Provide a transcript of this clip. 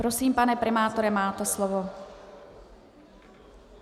Prosím, pane primátore, máte slovo.